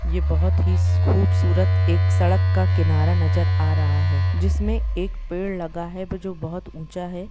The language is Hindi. यह बहुत खूबसूरत सड़क किनारा नजर आ रहा हैजिसमे एक पेड़ लगा हुआ है जिसमें बहुत ऊंचा है।